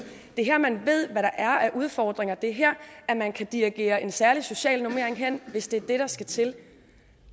det er her man ved hvad der er af udfordringer det er her man kan dirigere en særlig social normering hen hvis det er det der skal til